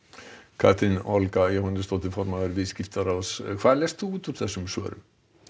Katrín Olga Jóhannesdóttir formaður Viðskiptaráðs hvað lestu út úr þessum svörum